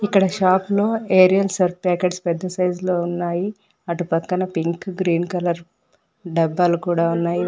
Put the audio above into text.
ఇక్కడ షాపు లో Ariel Surf packets పెద్ద సైజ్ లో ఉన్నాయి అటు పక్కన పింక్ గ్రీన్ కలర్ డబ్బాలు కూడా ఉన్నాయి వా--